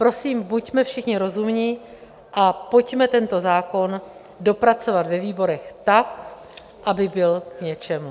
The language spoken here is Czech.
Prosím, buďme všichni rozumní a pojďme tento zákon dopracovat ve výborech tak, aby byl k něčemu.